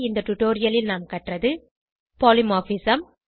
இந்த டுடோரியலில் நாம் கற்றது பாலிமார்பிசம்